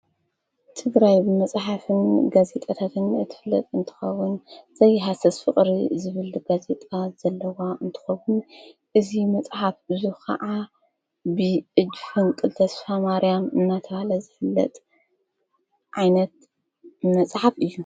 ቲግራይብ መጽሓፍን ገዜጠተትን እትለጥ እንተኸዉን ዘይሓሠስ ፊቕሪ ዝብሊ ገዜጣ ዘለዋ እንተኸቡን እዙ መጽሓፍ እዙ ኸዓ ብእጅሕንቅል ተስፋ ማርያም እናተሃለ ዘፍለጥ ዓይነት መጽሓፍ እዩ።